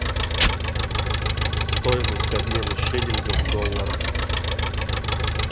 стоимость обмена шиллинга в долларах